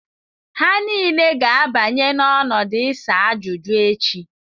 Ha niile ga-abanye n'ọdụ isa ajuju echi.